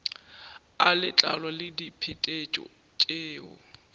a letlalo le diphetetšo tšeo